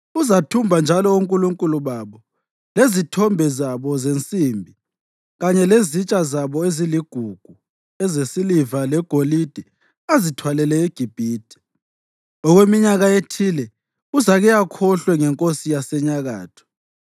Uzathumba njalo onkulunkulu babo, lezithombe zabo zensimbi kanye lezitsha zabo eziligugu ezesiliva legolide azithwalele eGibhithe. Okweminyaka ethile uzake akhohlwe ngenkosi yaseNyakatho.